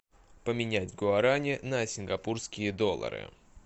поменять гуарани на сингапурские доллары